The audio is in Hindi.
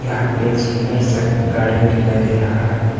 यहां पे एक सुंदर सा गार्डन दिखाई दे रहा है।